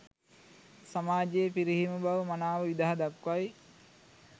සමාජයේ පිරිහීම බව මනාව විදහා දක්වයි.